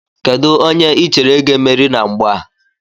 Kedụ onye I chere ga-emeri na mgba a?